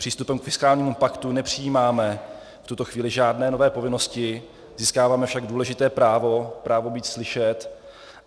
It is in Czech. Přístupem k fiskálnímu paktu nepřijímáme v tuto chvíli žádné nové povinnosti, získáváme však důležité právo - právo být slyšet.